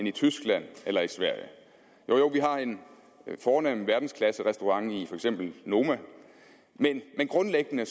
i tyskland eller sverige jo jo vi har en fornem verdensklasserestaurant i for eksempel noma men grundlæggende